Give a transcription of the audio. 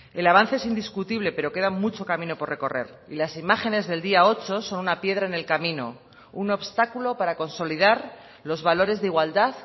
el avance es indiscutible pero queda mucho camino por recorrer y las imágenes del día ocho son una piedra en el camino un obstáculo para consolidar los valores de igualdad